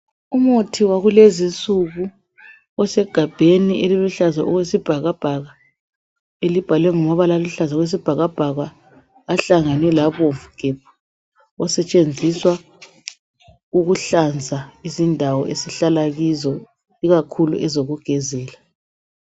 Umuthi wakulezinsuku osegabheni eliluhlaza okwesibhakabhaka, elibhalwe ngamabala aluhlaza okwesibhakabhaka ahlangene labomvu gebhu, osetshenziswa ukuhlanza indawo esihlala kuzo ikakhulu ezokugezela.